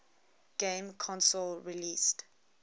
game console released